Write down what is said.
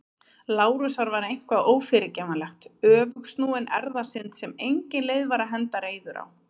Lárusar var eitthvað ófyrirgefanlegt- öfugsnúin erfðasynd sem engin leið var að henda reiður á.